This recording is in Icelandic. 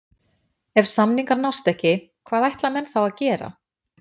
Ef samningar nást ekki, hvað ætla menn þá að gera?